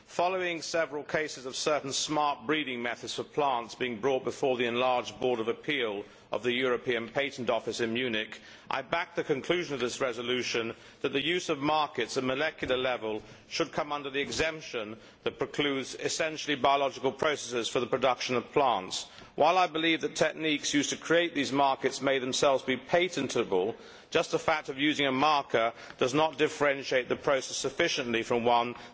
Following several cases of certain smart breeding methods for plants being brought before the Enlarged Board of Appeal of the European Patent Office in Munich, I backed the conclusion of this resolution that the use of markers at molecular level should come under the exemption that precludes essentially biological processes for the production of plants. While I believe that the techniques used to create these markers may themselves be patentable, the simple fact of using a marker does not differentiate the process sufficiently from one that is essentially biological.